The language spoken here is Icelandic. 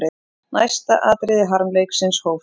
Næsta atriði harmleiksins hófst.